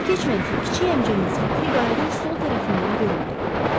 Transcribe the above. Çox keçmədi ki, kiçik həmçəyin səthi qayıqın sol tərəfindən göründü.